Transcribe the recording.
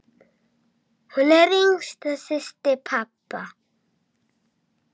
Hún var yngsta systir pabba.